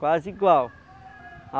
Quase igual.